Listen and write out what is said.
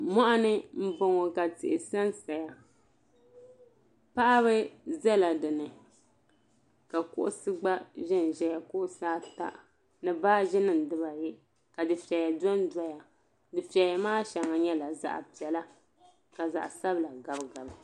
Moɣuni m boŋɔ ka yihi sansaya paɣaba biɛla dinni ka kuɣusi gba ʒɛnʒɛya kuɣusi ata ni baaji nima dibaayi ka dufeya dondoya dufeya maa sheŋa nyɛla zaɣa piɛla ka zaɣa sabla gabi gabi.